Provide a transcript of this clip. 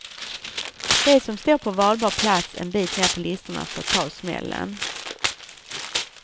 De som står på valbar plats en bit ner på listorna får ta smällen.